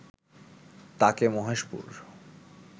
তাকে মহেশপুর